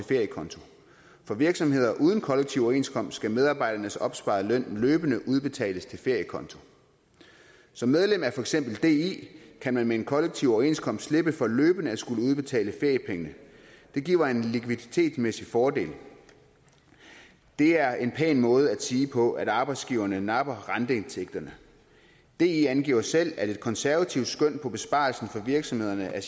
feriekonto for virksomheder uden kollektiv overenskomst skal medarbejdernes opsparede løn løbende udbetales til feriekonto som medlem af for eksempel di kan man med en kollektiv overenskomst slippe for løbende at skulle udbetale feriepengene det giver en likviditetsmæssig fordel det er en pæn måde at sige på at arbejdsgiverne napper renteindtægterne di angiver selv at et konservativt skøn for besparelserne for virksomhederne er at